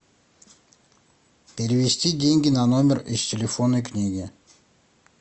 перевести деньги на номер из телефонной книги